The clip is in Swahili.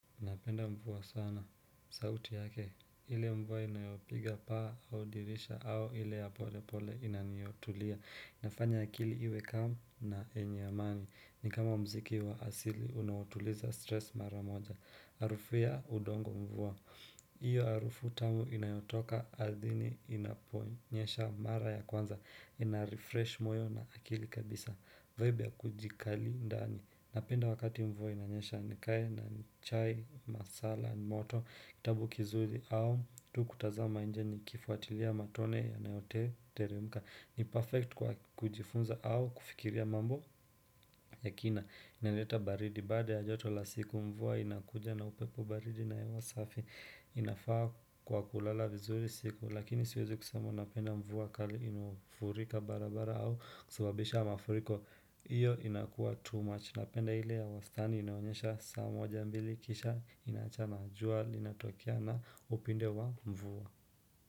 Napenda mvua sana, sauti yake, ile mvua inayopiga paa au dirisha au ile ya pole pole inaniyotulia inafanya akili iwe kam na yenye amani, ni kama mziki wa asili unaotuliza stress mara moja harufu ya udongo mvua, Hio harufu tamu inayotoka ardhini inaponyesha mara ya kwanza Inarefresh moyo na akili kabisa, vaibia kujikali ndani Napenda wakati mvua inanyesha nikae na chai, masala, moto, kitabu kizuri au tu kutazama nje nikifuatilia matone yanayote teremuka ni perfect kwa kujifunza au kufikiria mambo Yakina inaleta baridi baada ya joto la siku mvua inakuja na upepo baridi na hewa safi inafaa kwa kulala vizuri siku Lakini siwezi kusema napenda mvua kali inaofurika barabara au kusababisha mafuriko Hio inakua too much napenda ile ya wastani inaonyesha saa moja mbili kisha inaacha na jua linatokea na upinde wa mvua.